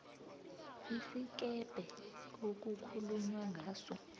isikebhe okukhulunywa ngaso